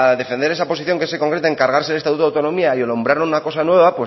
defender esa posición que se concreta en cargarse el estatuto de autonomía y alumbrar una cosa nueva